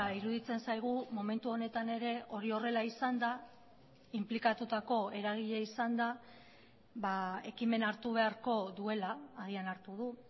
iruditzen zaigu momentu honetan ere hori horrela izanda inplikatutako eragile izanda ekimena hartu beharko duela agian hartu du